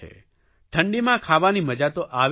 ઠંડીમાં ખાવાની મજા તો આવે જ છે